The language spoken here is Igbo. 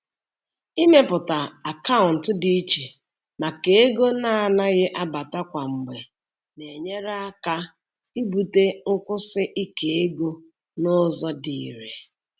Ịmepụta akaụntụ dị iche maka ego na-anaghị abata kwa mgbe na-enyere aka ibute nkwụsi ike ego n'ụzọ dị irè.